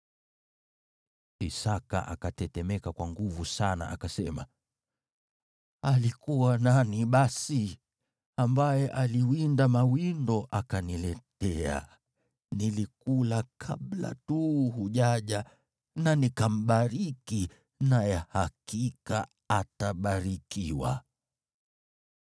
Isaki akatetemeka kwa nguvu sana, akasema, “Alikuwa nani basi, ambaye aliwinda mawindo akaniletea? Nilikula kabla tu hujaja na nikambariki, naye hakika atabarikiwa!”